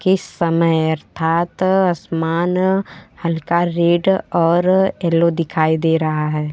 के समय अर्थात आसमान हल्का रेड और येलो दिखाई दे रहा है।